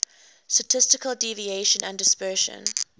statistical deviation and dispersion